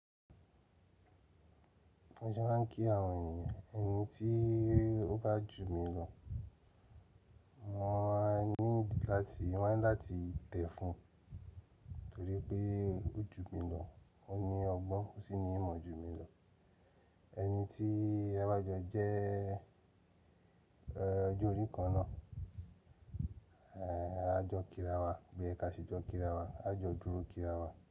Bí mo ṣe máa ń kí àwọn ènìyàn. Ẹni tí ó bá jù mí lọ, mo máa ní láti–n máa láti tẹ̀ fún un torí ípé ó jù mí lọ. Ó ní ọgbọ́n, ó sì ní ìmọ̀ jù mí lọ ẹni tí a bá jọ jẹ́ ẹh, ọjọ́ orí kan náà, a jọ kíra wa bí óyẹ ká ṣe jọ kíra wa, a jọ dúró kíra wa.